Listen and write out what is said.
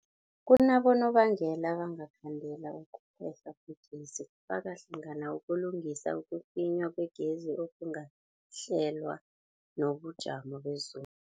Kunabonobangela abangakhandela ukuphehlwa kwegezi, kufaka hlangana ukulungisa, ukucinywa kwegezi okungakahlelwa, nobujamo bezulu.